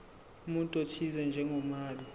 umuntu othize njengomabi